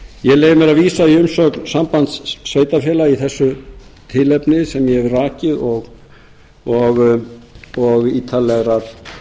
ég leyfi mér að vísa í umsögn sambands sveitarfélaga í þessu tilefni sem ég hef rakið og ítarlegrar